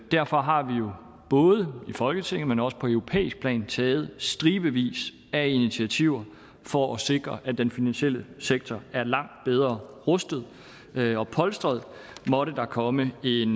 derfor har vi jo både i folketinget men også på europæisk plan taget stribevis af initiativer for at sikre at den finansielle sektor er langt bedre rustet og polstret måtte der komme en